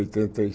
Oitenta e